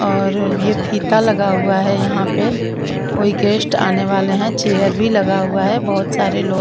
और ये फीता लगा हुआ है यहां पे कोई गेस्ट आने वाले हैं चेयर भी लगा हुआ है बहोत सारे लोग--